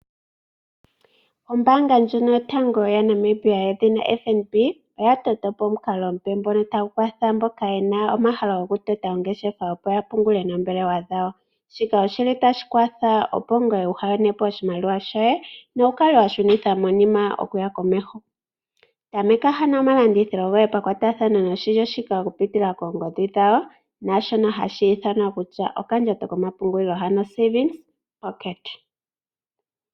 Ombaanga ndjono yotango yaNamibia yedhina FNB, oya tota po omukalo omupe ngono tagu kwatha mboka ye na omahalo gokutota po ongeshefa, opo ya pungule noombelewa dhawo. Shika oshi li tashi kwatha opo ngoye waa yone po oshimaliwa shoye nowu kale wa shunitha monima okuya komeho. Tameka ano omalandithilo goye pakwatathano noshilyo shika okupitila koongodhi dhawo, naashono hashi ithanwa kutya okandjato komapungulilo.